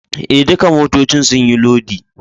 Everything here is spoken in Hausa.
Eh, ɗukan motoccin sun yi lodi.